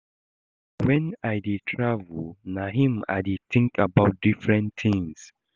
Na wen I dey travel na im I dey think about different things